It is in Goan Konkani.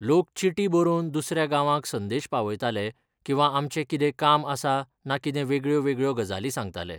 लोक चिटी बरोवन दुसऱ्या गांवांक संदेश पावयताले किंवा आमचें कितें काम आसा ना कितें वेगळ्यो वेगळ्यो गजाली सांगताले.